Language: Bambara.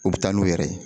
U bɛ taa n'u yɛrɛ ye